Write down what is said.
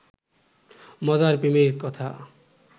মজার প্রেমের কথা